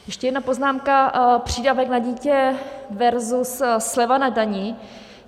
Ještě jedna poznámka: přídavek na dítě versus sleva na dani.